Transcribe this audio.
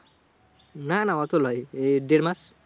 না না অত লয় এ দেড় মাস।